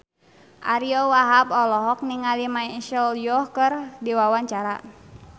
Ariyo Wahab olohok ningali Michelle Yeoh keur diwawancara